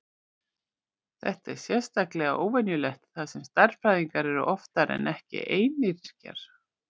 Þetta er sérstaklega óvenjulegt þar sem stærðfræðingar eru oftar en ekki einyrkjar.